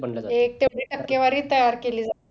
तेवढी टक्केवारी तयार केली जाते